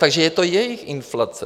Takže je to jejich inflace.